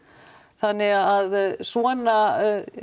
þannig að svona